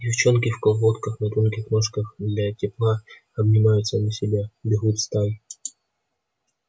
девчонки в колготках на тонких ножках для тепла обнимают сами себя бегут стай